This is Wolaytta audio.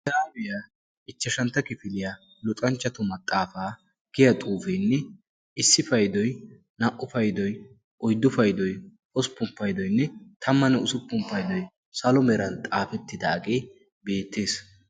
aabiyaa ichchashantta kifiiliyaa luxanchchatu maxaafaa giya xuufeenne issi paydoy naa''u paydoy oyddu paydoy hosppun paydoynne tammanne usuppun paydoy salo meeran xaafettidaagee beettees